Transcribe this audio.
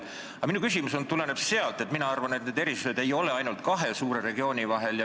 Aga minu küsimus tuleneb sellest, et minu arvates erisused ei ole ainult kahe suure regiooni vahel.